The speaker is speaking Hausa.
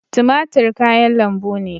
Tumatir kayan lambu ne.